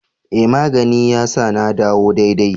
E! magani ya sa ya dawo daidai.